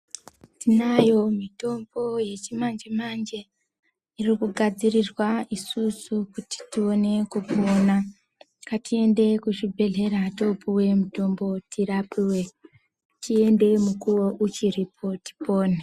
Tinayo mitombo yechimanje-manje irikugadzirirwa isusu kuti ione kupona. Ngatiende kuzvibhedhlera topuve mutombo tirapive tiende mukuvo uchiripo tipone.